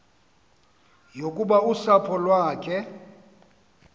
yokuba usapho lwakhe